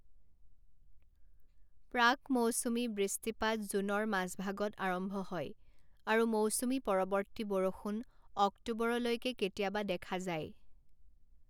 প্ৰাক মৌচুমী বৃষ্টিপাত জুনৰ মাজভাগত আৰম্ভ হয় আৰু মৌচুমী পৰৱৰ্তী বৰষুণ অক্টোবৰলৈকে কেতিয়াবা দেখা যায়।